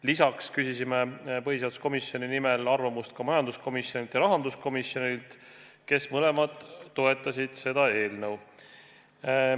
Lisaks küsisime põhiseaduskomisjoni nimel arvamust majanduskomisjonilt ja rahanduskomisjonilt, kes mõlemad toetasid seda eelnõu.